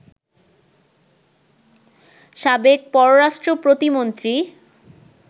সাবেক পররাষ্ট্র প্রতিমন্ত্রী